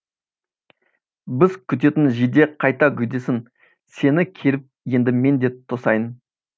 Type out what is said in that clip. біз күтетін жиде қайта гүлдесін сені келіп енді мен де тосайын